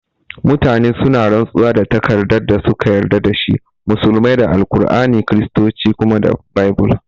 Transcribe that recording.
Mutane suna rantsuwa da takardar da suka yarda da shi, musulmai da al'aur'ani, Kiristoci kuma da baibul